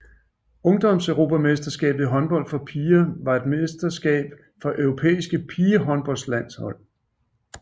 Ungdomseuropamesterskabet i håndbold for piger var et mesterskab for europæiske pigehåndboldlandshold